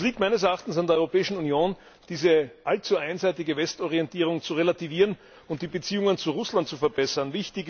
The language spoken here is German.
Es liegt meines Erachtens an der Europäischen Union, diese allzu einseitige Westorientierung zu relativieren und die Beziehungen zu Russland zu verbessern.